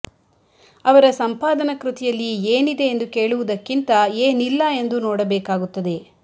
ಅವರ ಸಂಪಾದನ ಕೃತಿಯಲ್ಲಿ ಏನಿದೆ ಎಂದು ಕೇಳುವುದಕ್ಕಿಂತ ಏನಿಲ್ಲ ಎಂದು ನೋಡಬೇಕಾಗುತ್ತದೆ